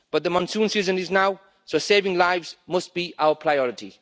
But the monsoon season is now, so saving lives must be our priority.